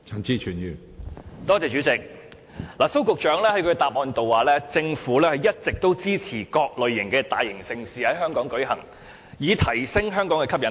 主席，蘇局長在主體答覆中表示，政府一直支持各類大型盛事在香港舉行，以提升香港的吸引力。